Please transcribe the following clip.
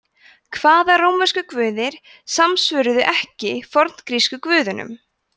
hvaða rómversku guðir samsvöruðu ekki forngrísku guðunum